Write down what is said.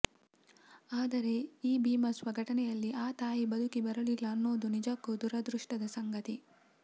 ಆದರೆ ಈ ಭೀಭತ್ಸ ಘಟನೆಯಲ್ಲಿ ಆ ತಾಯಿ ಬದುಕಿ ಬರಲಿಲ್ಲ ಅನ್ನೋದು ನಿಜಕ್ಕೂ ದುರಾದೃಷ್ಟದ ಸಂಗತಿ